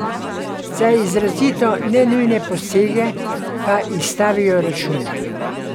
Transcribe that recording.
Za izrazito nenujne posege pa izstavijo račun.